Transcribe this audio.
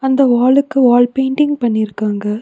இந்த வாலுக்கு வால் பெயிண்டிங் பண்ணிர்க்காங்க.